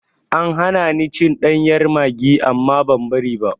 An hana ni cin ɗanyar maggi amma ban bari ba.